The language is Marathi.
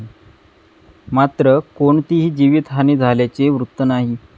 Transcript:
मात्र, कोणतीही जीवीतहानी झाल्याचे वृत्त नाही.